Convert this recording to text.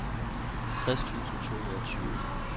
tres tusind to hundrede og tyve